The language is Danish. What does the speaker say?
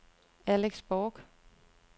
Alex Borch